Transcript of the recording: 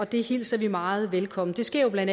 det hilser vi meget velkommen det sker jo bla